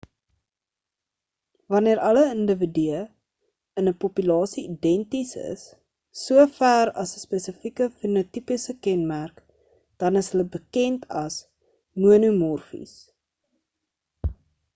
wanneer alle individue in 'n populasie identies is so ver as 'n spesifieke fenotipiese kenmerk dan is hulle bekend as monomorfies